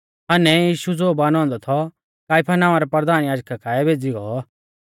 हन्नै यीशु ज़ो बानौ औन्दौ थौ काइफा नाआं रै परधान याजका काऐ भेज़ी गौ